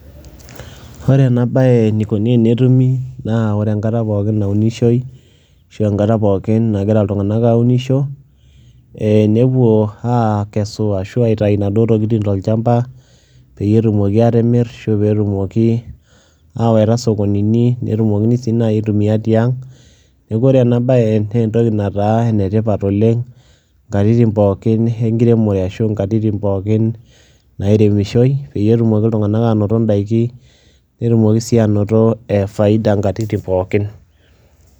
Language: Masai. Ore ena baye enikoni enetumi naa ore enkata pookin naunishoi ashu enkata pookin nagira iltung'anak aunisho ee nepuo aakesu ashu aitayu naduo tokitin tolchamba peyie etumoki aatimir ashu pee etumoki ayawaita sokonini netumokini sii nai aitumia tiang'. Neeku ore ena baye nee entoki nataa ene tipat oleng' nkatitin pookin enkiremore ashu nkatitn pookin nairemishoi peyie etumoki iltung'anak aanoto ndaiki netumoki sii anoto e faida nkatitin pookin.